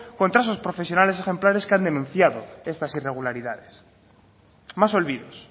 contra esos profesionales ejemplares que han denunciado estas irregularidades más olvidos